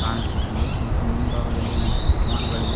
ಕಾಣಸುತ್ತಿದೆ ಮತ್ತು ಮುಂಭಾಗದಲ್ಲಿ ಒಂದಿಷ್ಟು ಸಾಮಾನುಗಳಿವೆ.